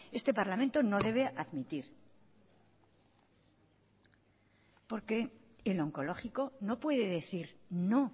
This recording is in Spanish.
este parlamento no debe admitir porque el oncológico no puede decir no